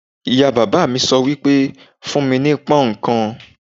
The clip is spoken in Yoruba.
Ìyá bàbá mi sọ wípé: fún mi ní pón ǹkan."